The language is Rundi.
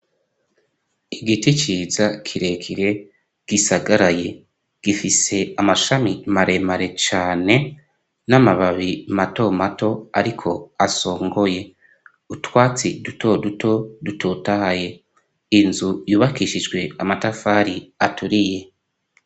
Igiti ciza kirekire gisagaraye gifise amashami maremare cane n'amababi mato mato ariko asongoye utwatsi duto duto dutotahaye inzu yubakishijwe amatafari aturiye.